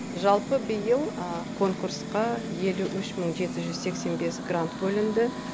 жалпы биыл конкурсқа елу үш мың жеті жүз сексен бес грант бөлінді